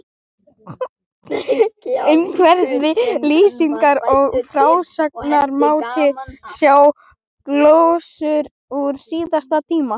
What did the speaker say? Umhverfi, lýsingar og frásagnarmáti, sjá glósur úr síðasta tíma